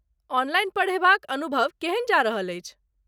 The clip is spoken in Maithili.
ऑनलाइन पढ़ेबाक अनुभव केहन जा रहल अछि?